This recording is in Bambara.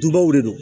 Dubaw de don